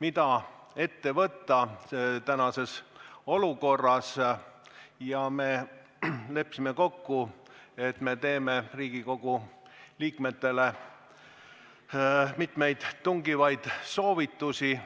mida praeguses olukorras ette võtta, ja me leppisime kokku, et me anname Riigikogu liikmetele mitmeid tungivaid soovitusi.